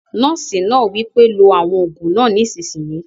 Nọ́ọ̀sì náà wí pé "lo àwọn òògùn náà nísìsiyìí!"